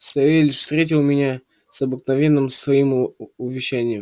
савельич встретил меня с обыкновенным своим увещанием